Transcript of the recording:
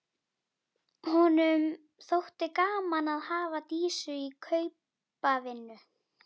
Honum þótti gaman að hafa Dísu í kaupavinnu.